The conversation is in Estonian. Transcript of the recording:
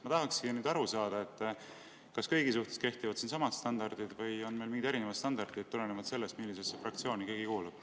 Ma tahaksingi nüüd aru saada, kas kõigi suhtes kehtivad siin samad standardid või on meil mingid erinevad standardid tulenevalt sellest, millisesse fraktsiooni keegi kuulub.